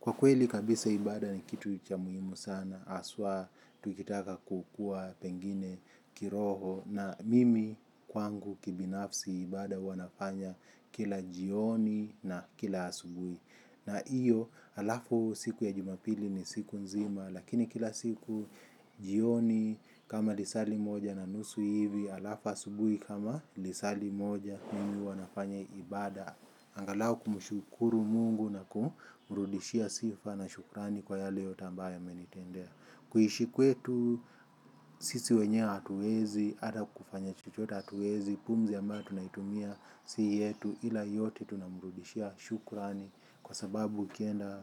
Kwa kweli kabisa ibada ni kitu cha muhimu sana haswa tukitaka kukua pengine kiroho na mimi kwangu kibinafsi ibada huwa nafanya kila jioni na kila asubui. Na hiyo alafu siku ya jumapili ni siku nzima lakini kila siku jioni kama lisali moja na nusu hivi alafu asubuhi kama lisali moja mimi huwa nafanya ibada. Angalau kumshukuru mungu na kumrudishia sifa na shukrani kwa yale yote ambayo amenitendea. Kuishi kwetu, sisi wenyewe hatuwezi, hata kufanya chochote hatuwezi, pumzi ambayo tunaitumia si yetu. Ila yote tunamrudishia shukrani kwa sababu ukienda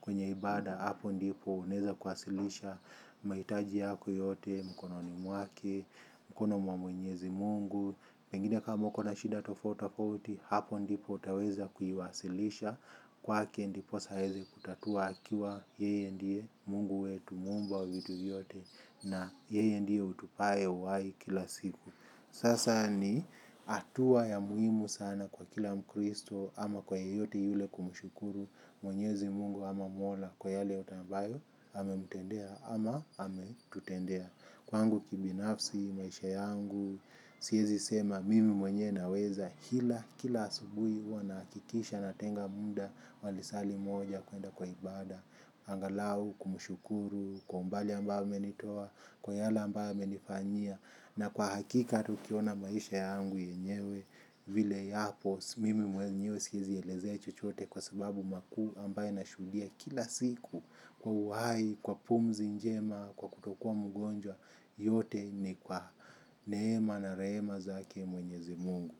kwenye ibada hapo ndipo unaeza kuwasilisha mahitaji yako yote, mkononi mwake, mkono mwa mwenyezi mungu. Pengine kama uko na shida tofauti tofauti hapo ndipo utaweza kuiwasilisha kwake ndiposa aeze kutatua akiwa yeye ndie mungu wetu muumba wa vitu vyote na yeye ndiye utupae uwai kila siku. Sasa ni hatua ya muhimu sana kwa kila mkristo ama kwa yeyote yule kumshukuru mwenyezi mungu ama mola kwa yale yote ambayo amemutendea ama ametutendea. Kwangu kibinafsi maisha yangu siezi sema mimi mwenyewe naweza ila, kila asubuhi huwa nahakikisha natenga muda wa lisali moja kuenda kwa ibada, angalau, kumshukuru, kwa umbali ambayo amenitoa, kwa yale ambayo amenifanyia, na kwa hakika hata ukiona maisha yangu yenyewe, vile yapo mimi mwenyewe siezi elezea chochote kwa sababu makuu ambayo nashuhudia kila siku kwa uhai, kwa pumzi njema, kwa kutokuwa mgonjwa yote ni kwa neema na rehema zake mwenyezi mungu.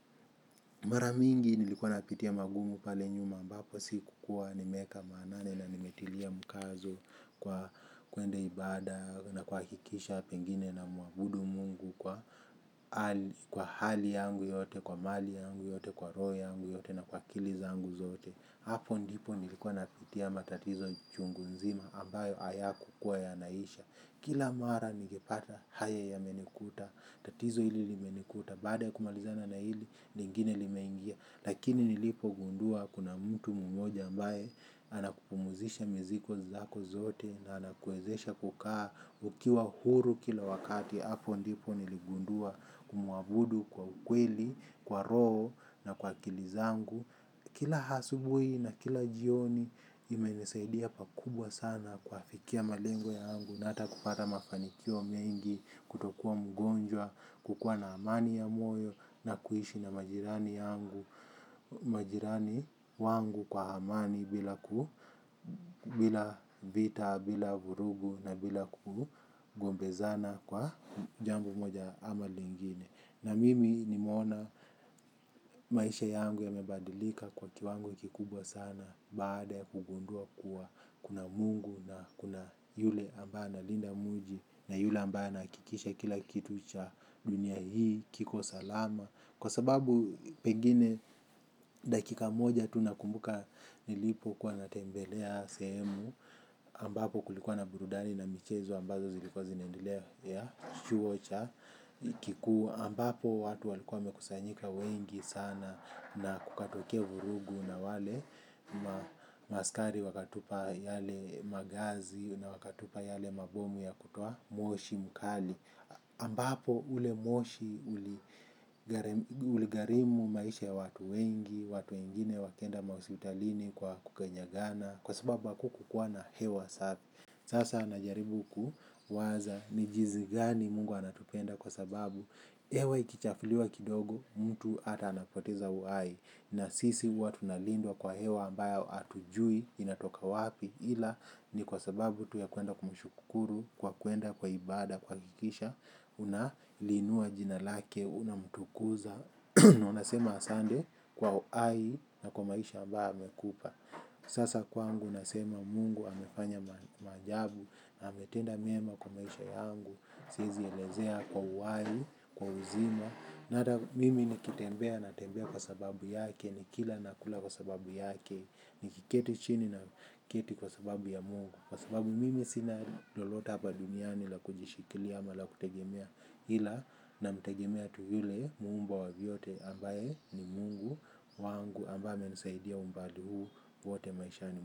Mara mingi nilikuwa napitia magumu pale nyuma ambapo sikukua nimeeka maanani na nimetilia mkazo kwa kuende ibada na kuhakikisha pengine namuabudu mungu kwa hali yangu yote, kwa mali yangu yote, kwa roho yangu yote na kwa akili zangu zote. Hapo ndipo nilikuwa napitia matatizo chungu nzima ambayo hayakukua yanaisha. Kila mara ningepata haya yamenikuta. Tatizo hili limenikuta. Baada ya kumalizana na hili lingine limeingia. Lakini nilipogundua kuna mtu mmoja ambaye anakupumzisha mizigo zako zote na anakuezesha kukaa ukiwa huru kila wakati. Hapo ndipo niligundua kumuabudu kwa ukweli, kwa roho na kwa akili zangu. Kila asubuhi na kila jioni imenisaidia pakubwa sana kuafikia malengo yangu na hata kupata mafanikio mengi kutokuwa mgonjwa, kukua na amani ya moyo na kuishi na majirani yangu, majirani wangu kwa amani bila vita, bila vurugu na bila kugombezana kwa jambo moja ama lingine. Na mimi nimeona maisha yangu yamebadilika kwa kiwango kikubwa sana. Baada ya kugundua kuwa kuna mungu na kuna yule ambaye analinda mji na yule ambaye anahakikisha kila kitu cha dunia hii kiko salama. Kwa sababu pengine dakika moja tunakumbuka nilipokuwa natembelea sehemu ambapo kulikuwa na burudani na michezo ambazo zilikuwa zinaendelea ya chuo cha kikuu ambapo watu walikua wamekusanyika wengi sana na kukatokea vurugu na wale ma askari wakatupa yale magasi na wakatupa yale mabomu ya kutoa moshi mkali ambapo ule moshi uligharimu maisha ya watu wengi, watu wengine wakaenda ma hosipitalini kwa kukanyagana kwa sababu hakukuwa na hewa safi. Sasa najaribu kuwaza ni jinsi gani mungu anatupenda kwa sababu hewa ikichafuliwa kidogo mtu hata anapoteza uhai. Na sisi huwa tunalindwa kwa hewa ambayo hatujui inatoka wapi. Ila ni kwa sababu tu ya kuenda kumshukuru kwa kuenda kwa ibada kuhakikisha unaliinua jina lake unamtukuza. Unasema asante kwa uhai na kwa maisha ambayo amekupa. Sasa kwangu nasema mungu amefanya maajabu. Na ametenda mema kwa maisha yangu. Siezielezea kwa uhai, kwa uzima. Na hata mimi nikitembea natembea kwa sababu yake. Nikila nakula kwa sababu yake. Nikiketi chini na keti kwa sababu ya mungu. Kwa sababu mimi sina lolote hapa duniani la kujishikilia ama la kutegemea ila namtegemea tu yule muumba wa vyote ambaye ni mungu wangu ambaye amenisaidia umbali huu wote maishani.